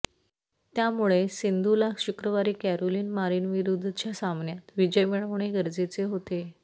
त्यामुळे सिंधूला शुक्रवारी कॅरोलिन मारिनविरुद्धच्या सामन्यात विजय मिळवणे गरजेचे होते